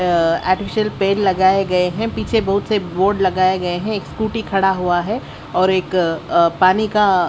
अ artificial पेड़ लगाए गए हैं पीछे बहुत से बोर्ड लगाए गए हैं एक स्कूटी खड़ा हुआ है और एक अ पानी का--